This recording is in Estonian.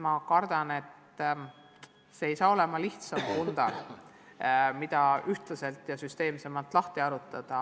Ma kardan, et see ei saaks olema lihtsalt lahendatav pundar, mida me hakkaksime süsteemsemalt lahti harutama.